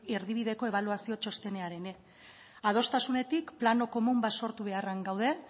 erdibideko ebaluazio txostenean ere adostasunetik plano komun bat sortu beharrean gaude